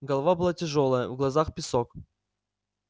голова была тяжёлая в глазах песок